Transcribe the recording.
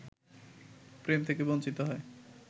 প্রেম থেকে বঞ্চিত হয়